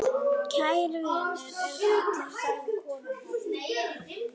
Kær vinur er fallin frá.